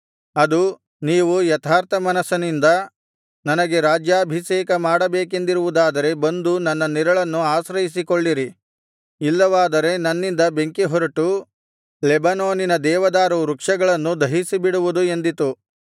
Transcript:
ಅದು ನೀವು ಯಥಾರ್ಥಮನಸ್ಸಿನಿಂದ ನನಗೆ ರಾಜ್ಯಾಭಿಷೇಕ ಮಾಡಬೇಕೆಂದಿರುವುದಾದರೆ ಬಂದು ನನ್ನ ನೆರಳನ್ನು ಆಶ್ರಯಿಸಿಕೊಳ್ಳಿರಿ ಇಲ್ಲವಾದರೆ ನನ್ನಿಂದ ಬೆಂಕಿಹೊರಟು ಲೆಬನೋನಿನ ದೇವದಾರು ವೃಕ್ಷಗಳನ್ನು ದಹಿಸಿಬಿಡುವುದು ಎಂದಿತು